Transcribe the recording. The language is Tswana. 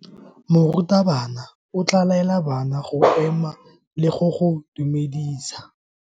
Morutabana o tla laela bana go ema le go go dumedisa.